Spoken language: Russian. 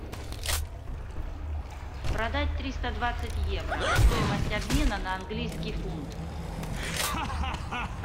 продать триста двадцать евро стоимость обмена на английский фунт